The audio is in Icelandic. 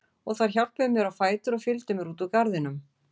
Og þær hjálpuðu mér á fætur og fylgdu mér út úr garðinum.